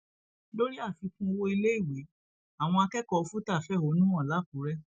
lórí àfikún owó iléèwé àwọn akẹkọọ fútà fẹhónú hàn làkúrẹ